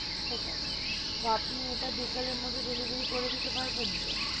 ঠিক আছে, তো আপনি ইটা বিকেলের মধ্যে delivery করে দিতে পারবেন তো?